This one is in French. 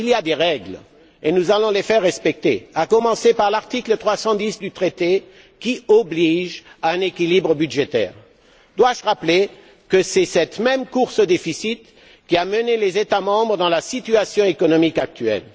Il y a des règles et nous allons les faire respecter, à commencer par l'article 310 du traité qui oblige à un équilibre budgétaire. Dois je rappeler que c'est cette même course au déficit qui a mené les États membres dans la situation économique actuelle?